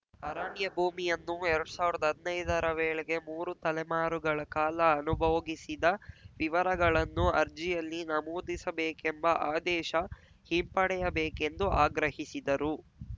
ಅರಣ್ಯ ಭೂಮಿಯನ್ನು ಎರಡ್ ಸಾವ್ರ್ದ ಹದ್ನೈದರ ವೇಳೆಗೆ ಮೂರು ತಲೆಮಾರುಗಳ ಕಾಲ ಅನುಭೋಗಿಸಿದ ವಿವರಗಳನ್ನು ಅರ್ಜಿಯಲ್ಲಿ ನಮೂದಿಸಬೇಕೆಂಬ ಆದೇಶ ಹಿಂಪಡೆಯಬೇಕೆಂದು ಆಗ್ರಹಿಸಿದರು